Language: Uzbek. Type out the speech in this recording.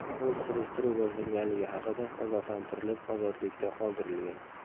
U surishtiruv boshlanganligi haqida ogohlantirilib, ozodlikda qoldirilgan.